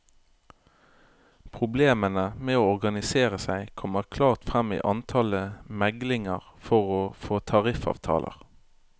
Problemene med å organisere seg kommer klart frem i antallet meglinger for å få tariffavtaler.